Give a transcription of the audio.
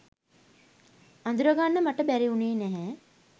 අඳුරගන්න මට බැරි වුණේ නැහැ.